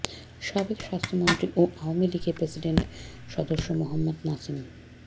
সাবেক স্বাস্থ্যমন্ত্রী ও আওয়ামী লীগের প্রেসিডিয়াম সদস্য মোহাম্মদ নাসিম